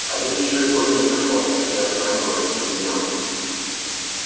а ведь ещё и года не прошло как схоронила этого беднягу